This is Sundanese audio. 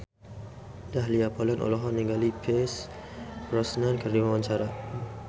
Dahlia Poland olohok ningali Pierce Brosnan keur diwawancara